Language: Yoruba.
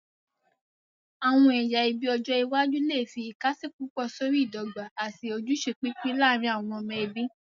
Àwọn ẹyà ẹbí ọjọ iwájú lè fi ìkàsí púpọ̀ sórí ìdọ́gba àti ojúṣe pípín láàárín àwọn ọmọ ẹbí.